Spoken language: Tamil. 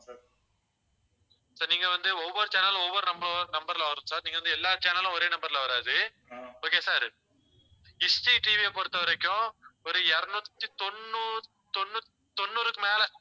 sir நீங்க வந்து ஒவ்வொரு channel லும் ஒவ்வொரு number, number ல வரும் sir நீங்க வந்து எல்லா channel லும் ஒரே number ல வராது. okay sir TV யை பொறுத்தவரைக்கும் ஒரு இருநூத்தி தொண்ணூ~ தொண்ணூ~ தொண்ணூறுக்கு மேல